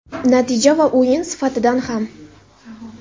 Natija va o‘yin sifatidan ham.